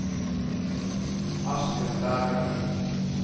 Asbjørn Berglund